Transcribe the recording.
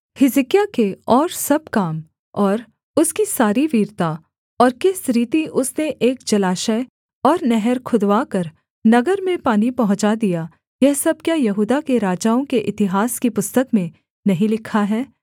हिजकिय्याह के और सब काम और उसकी सारी वीरता और किस रीति उसने एक जलाशय और नहर खुदवाकर नगर में पानी पहुँचा दिया यह सब क्या यहूदा के राजाओं के इतिहास की पुस्तक में नहीं लिखा है